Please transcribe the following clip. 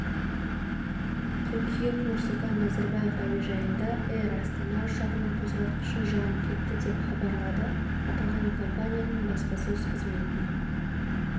қыркүйек нұрсұлтан назарбаев әуежайында эйр астана ұшағының қозғалтқышы жанып кетті деп хабарлады аталған компанияның баспасөз қызметіне